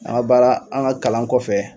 An ka baara an ka kalan kɔfɛ